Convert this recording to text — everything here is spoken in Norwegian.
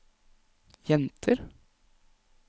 jenter